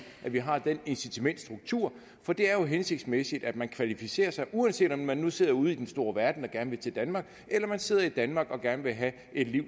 at vi har den incitamentsstruktur for det er jo hensigtsmæssigt at man kvalificerer sig uanset om man nu sidder ude i den store verden og gerne vil til danmark eller man sidder i danmark og gerne vil have et liv